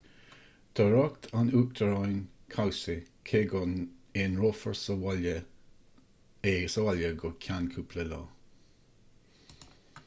tá riocht an uachtaráin cobhsaí cé go n-aonrófar é sa bhaile go ceann cúpla lá